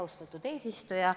Austatud eesistuja!